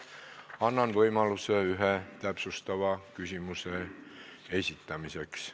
Annan võimaluse iga teema arutelul ühe täpsustava küsimuse esitamiseks.